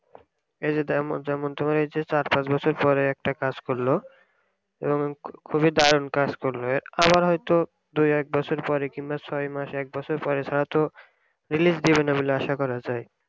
এই যে যেমন তুমি চার পাচ বছর পরে একটা কাজ করল এবং খুবই দারুন কাজ করল আবার হইত দুই এক বছর পরে কিংবা ছয় মাস এক বছর পরে হইত release দিবে না বলে আশা করা যায়